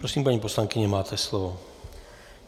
Prosím, paní poslankyně, máte slovo.